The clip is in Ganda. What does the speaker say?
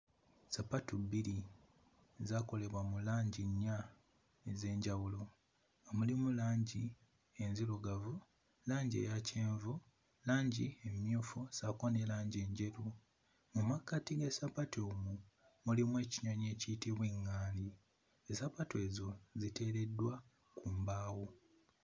Ssapatu bbiri, zaakolebwa mu langi nnya ez'enjawulo, mulimu langi enzirugavu, langi eya kyenvu, langi emmyufu ssaako ne langi enjeru. Mu makkati g'essapatu muno mulimu ekinyonyi ekiyitibwa ŋŋaali, ssapatu ezo ziteereddwa ku mbaawo.